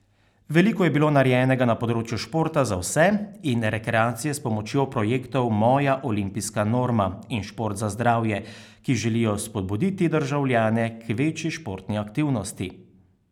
Veliko je bilo narejenega na področju športa za vse in rekreacije s pomočjo projektov Moja olimpijska norma in Šport za zdravje, ki želijo spodbuditi državljane k večji športni aktivnosti.